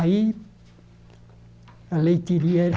Aí, a leiteiria era...